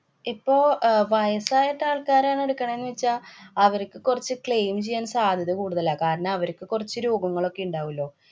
ഇപ്പൊ അഹ് വയസായിട്ട ആള്‍ക്കാരാണെടുക്കണേ ന്ന് വച്ചാ അവര്‍ക്ക് കൊറച്ചു claim ചെയ്യാന്‍ സാധ്യത കൂടുതലാ. കാരണം അവര്‍ക്ക് കൊറച്ചു രോഗങ്ങളൊക്കെ ഇണ്ടാവുലോ.